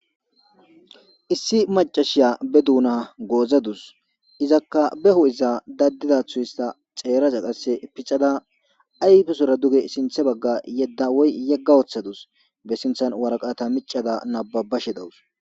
Issi maccasaya baa duna gozadusi izakka ba hupheza dadizaththo hisitada xeeraza qasekka pixxada ayippesora duge sinththa baga duge yeda woyis yeda woththadusi baa sinththani waraqata miccada naababashe dawusi